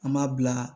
An m'a bila